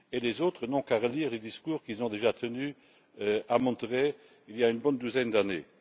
Les autres n'ont qu'à relire les discours qu'ils ont déjà tenus à Monterrey il y a une bonne douzaine d'années.